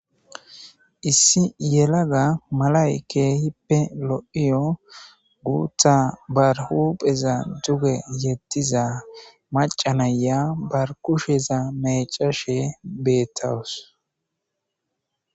issi yelaga malayke hippe lo7iyo guutha barhupheza duge yettiza macanaya bar kusheza mecashe beettawus